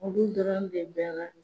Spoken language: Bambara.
Olu dɔrɔn de bɛ ga